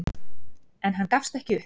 En hann gafst ekki upp.